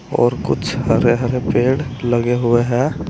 और कुछ हरे हरे पेड़ लगे हुए है।